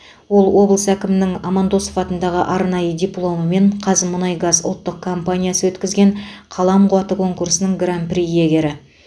ол облыс әкімінің амандосов атындағы арнайы дипломы мен қазмұнайгаз ұлттық компаниясы өткізген қалам қуаты конкурсының гран при иегері